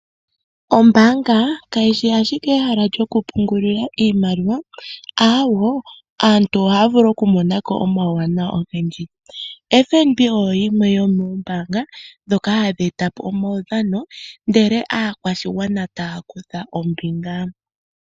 Ombaanga kayishi ashike ehala lyoku pungulila iimaliwa, awoo aantu ohavulu oku monako omauwana ogendji , FNB oyo yimwe yo mombaanga ndhoka hadhi etapo omaudhano ndele aakwashigwana taa kutha ombinga.